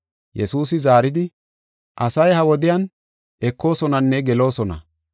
Yesuusi zaaridi, “Asay ha wodiyan ekoosonanne geloosona.